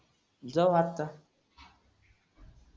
जाऊ आता